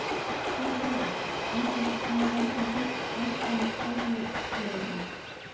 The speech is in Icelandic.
spyr ég, einbeitt að snúa vörn í sókn andspænis spæjurunum.